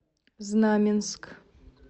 знаменск